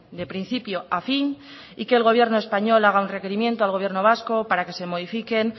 de principio a fin y que el gobierno español haga un requerimiento al gobierno vasco para que se modifiquen